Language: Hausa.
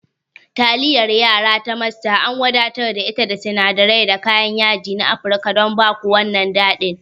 Taliyar yara ta Master an wadatar da ita da sinadirai da kayan yaji na Afirka don ba ku wannan daɗin.